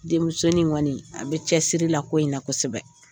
Denmusonin in kɔni a bɛ cɛsiri la ko in na kosɛbɛ